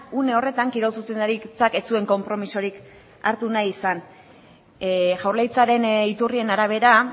une horretan kirol zuzendaritzak ez zuen konpromisorik hartu nahi izan jaurlaritzaren iturrien arabera